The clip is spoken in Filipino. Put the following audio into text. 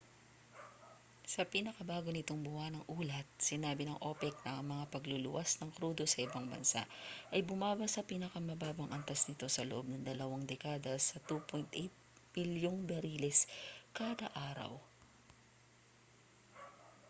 sa pinakabago nitong buwanang ulat sinabi ng opec na ang mga pagluluwas ng krudo sa ibang bansa ay bumaba sa pinakamababang antas nito sa loob ng dalawang dekada sa 2.8 milyong bariles kada araw